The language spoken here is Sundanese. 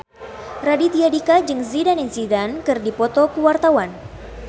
Raditya Dika jeung Zidane Zidane keur dipoto ku wartawan